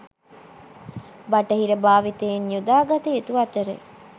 බටහිර භාවිතයන් යොදාගත යුතු අතර